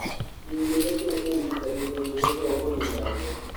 Ningĩ nĩ kũrĩ ũrigitani ũngĩhũthĩrũo kũniina ruo.